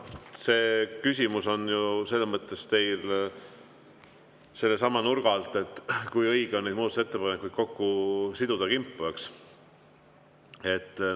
No see küsimus on teil ju sellesama nurga alt, et kui õige on muudatusettepanekuid kokku, kimpu siduda, eks.